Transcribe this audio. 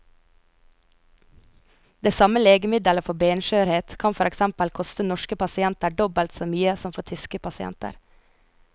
Det samme legemiddelet for benskjørhet kan for eksempel koste norske pasienter dobbelt så mye som for tyske pasienter.